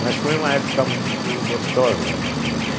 Mas foi uma época muito gostosa da minha vida.